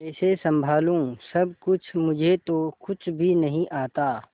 कैसे संभालू सब कुछ मुझे तो कुछ भी नहीं आता